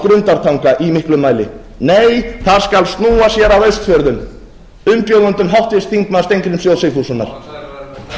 grundartanga í miklum mæli nei það skal snúa sér að austfjörðum umbjóðendum háttvirtur þingmaður steingríms j sigfússonar það skal